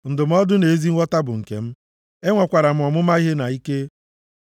Ndụmọdụ na ezi nghọta bụ nke m; enwekwara m ọmụma ihe na ike.